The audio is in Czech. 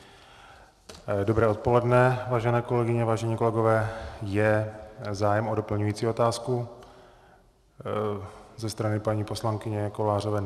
Dobré odpoledne, vážené kolegyně, vážení kolegové, je zájem o doplňující otázku ze strany paní poslankyně Kovářové?